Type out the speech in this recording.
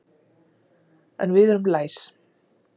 En við erum læs.